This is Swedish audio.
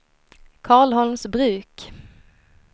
Karlholmsbruk